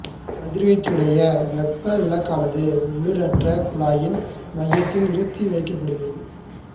கதிர்வீச்சுடைய வெப்ப விளக்கானது உள்ளீடற்ற குழாயின் மையத்தில் நிறுத்தி வைக்கப்படுகிறது